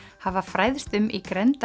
hafa fræðst um í